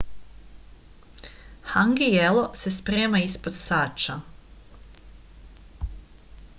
hangi jelo se sprema ispod sača